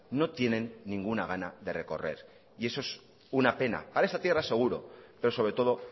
no tienen ninguna gana de recorrer y eso es una pena para esta tierra seguro pero sobre todo